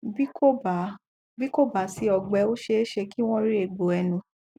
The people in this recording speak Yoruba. bí kò bá bí kò bá sí ọgbẹ ó ṣeéṣe kí wọn rí egbò ẹnu